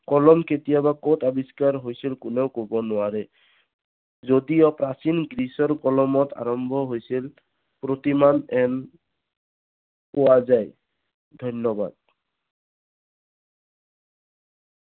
কলম কেতিয়াবা কত আবিষ্কাৰ হৈছিল কোনো কব নোৱাৰে। যদিও প্ৰাচীন গ্ৰীচৰ কলমত আৰম্ভ হৈছিল ধন্যবাদ